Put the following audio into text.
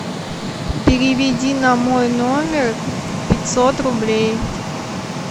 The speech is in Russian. переведи на мой номер пятьсот рублей